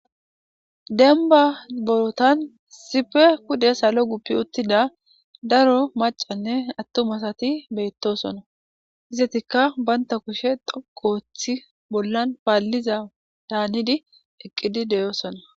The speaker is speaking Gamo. Dembba bootan issippe pude salo guppi uttida daro maccanne attuma asati beettosona. Izetikka banta kushe dhoqqu ooththidi paallizadan hanidi eqqisi de'osona.